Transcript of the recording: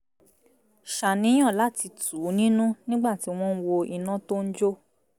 ṣàníyàn láti tù ú nínú nígbà tí wọ́n ń wo iná tó ń jó